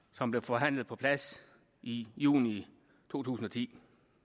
som blev forhandlet på plads i juni to tusind og ti